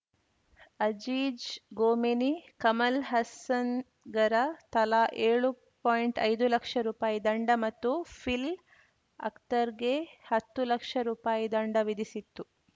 ಅಜೀಜ್‌ ಗೋಮೆನಿ ಕಮಲ್‌ ಹಸನ್‌ಗರ ತಲಾ ಏಳು ಪಾಯಿಂಟ್ಐದು ಲಕ್ಷ ರುಪಾಯಿ ದಂಡ ಮತ್ತು ಪಿಲ್‌ ಅಕ್ತರ್‌ಗೆ ಹತ್ತು ಲಕ್ಷ ರುಪಾಯಿ ದಂಡ ವಿಧಿಸಿತ್ತು